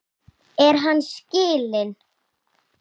Er hann skilinn?